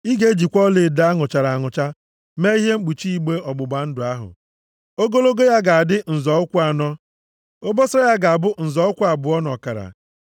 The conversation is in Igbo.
“Ị ga-ejikwa ọlaedo a nụchara anụcha mee ihe mkpuchi igbe ọgbụgba ndụ ahụ. Ogologo ya ga-adị nzọ ụkwụ anọ. Obosara ya ga-abụ nzọ ụkwụ abụọ na ọkara.